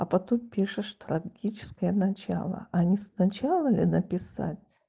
а потом пишешь трагическое начало а не сначала ли написать